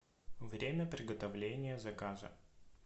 время приготовления заказа